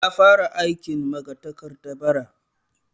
Ya fara aikin magatakarda bara